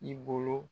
I bolo